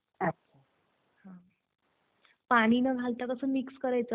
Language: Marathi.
हो आता कस आहे की आपला जमिनीचा कस आहे होआपली